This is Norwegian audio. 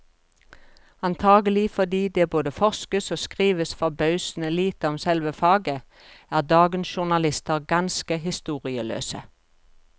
Antagelig fordi det både forskes og skrives forbausende lite om selve faget, er dagens journalister ganske historieløse.